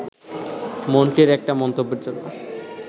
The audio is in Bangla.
মন্ত্রীর একটা মন্তব্যের জন্য